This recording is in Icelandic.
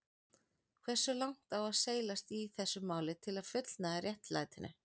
Hversu langt á seilast í þessu máli til að fullnægja réttlætinu?